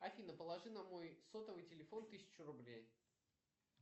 афина положи на мой сотовый телефон тысячу рублей